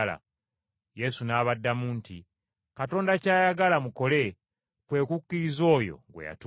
Yesu n’abaddamu nti, “Katonda ky’ayagala mukole kwe kukkiriza oyo gwe yatuma.”